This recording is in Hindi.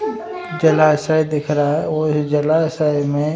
जलाशय दिख रहा है और उस जलाशय में --